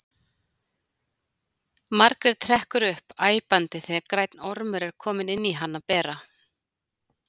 Margrét hrekkur upp æpandi þegar grænn ormur er kominn inn á hana bera.